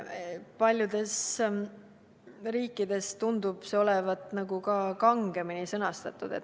Paljudes riikides tundub see olevat kangemini sõnastatud.